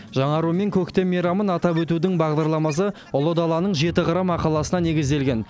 жаңару мен көктем мейрамын атап өтудің бағдарламасы ұлы даланың жеті қыры мақаласына негізделген